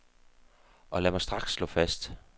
Og lad mig straks slå fast.